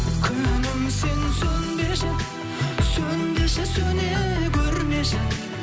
күнім сен сөнбеші сөнбеші сөне көрмеші